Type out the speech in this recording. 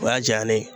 O y'a diya ne ye